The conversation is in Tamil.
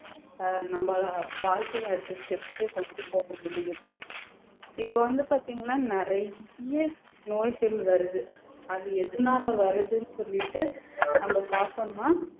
அஹ் நம்ம வாழ்க்கையை அடுத்த step க்கு கொண்டு போக முடியும் இப்ப வந்து பாத்தீங்கன்னா நிறைய நோய்கள் வருது அது எதுனாலே வருதுன்னு சொல்லிட்டு நம்ம பார்த்தோம்ன்னா